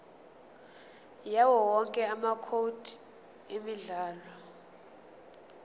yawowonke amacode emidlalo